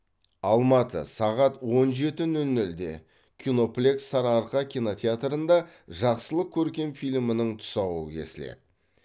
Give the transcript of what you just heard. алматы сағат он жеті нөл нөлде киноплекс сары арқа кинотеатрында жақсылық көркем фильмінің тұсауы кесіледі